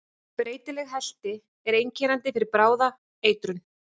Breytileg helti er einkennandi fyrir bráða eitrun.